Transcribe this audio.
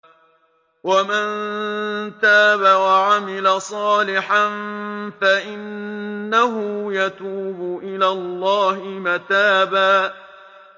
وَمَن تَابَ وَعَمِلَ صَالِحًا فَإِنَّهُ يَتُوبُ إِلَى اللَّهِ مَتَابًا